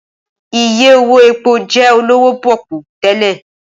Ìyè owó èpó jẹ́ olówó pọ́kú tẹ́lẹ̀